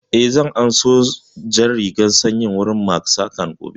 Eh, zan an so jan rigan sanyin wurin Mak saƙan gobe